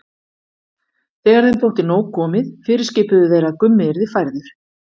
Þegar þeim þótti nóg komið fyrirskipuðu þeir að Gummi yrði færður.